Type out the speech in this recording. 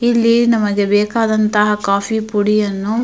ಇಲ್ಲಿ ನಮಗೆ ಬೇಕಾದಂತಹ ಕಾಫಿ ಪುಡಿ ಯನ್ನು --